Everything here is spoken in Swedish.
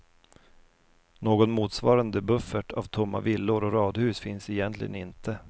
Någon motsvarande buffert av tomma villor och radhus finns egentligen inte.